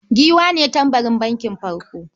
Giwa ne tambarin bankin first.